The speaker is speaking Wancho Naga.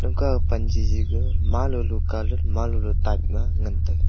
pan jiji ka ma lolo calat ma lolo type ga ngan taiga.